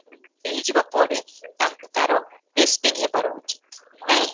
ହେଇଯିବ ପରେ ତାଙ୍କୁ ତାର ହବାର ହୋଉଛି, ନାହିଁ?